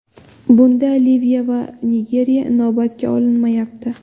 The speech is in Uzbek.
Bunda Liviya va Nigeriya inobatga olinmayapti.